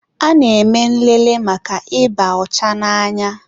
a na-eme nlele maka ịba ọcha n'anya